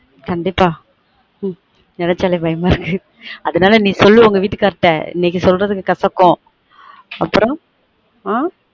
கண்டீப்பா ம் நெனச்சாலே பயமா இருக்கு அதுனால நீ சொல்லு உங்க வீட்டுக்காரர்ட்ட இன்னைக்கு சொல்றது கசக்கும் அப்புறம் ஆஹ்